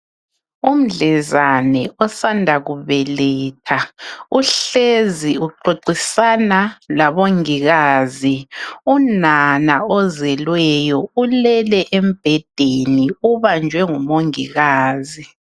Umdlezane osanda kubeletha uhlezi uxoxisana labongikazi. Umama ozelweyo ulele embhedeni ubanjwe ngumongikazi